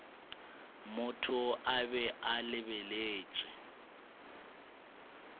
motho a be a lebeletše